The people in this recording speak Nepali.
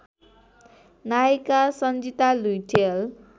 नायिका सन्जिता लुइटेल